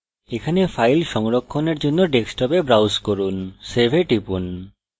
এখানে file সংরক্ষণের জন্য ডেস্কটপে browse করুন save এ টিপুন